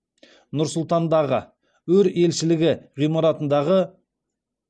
нұр сұлтандағы өр елшілігі ғимаратындағы